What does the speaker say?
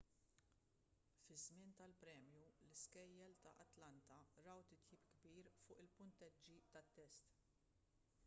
fiż-żmien tal-premju l-iskejjel ta' atlanta raw titjib kbir fuq il-punteġġi tat-test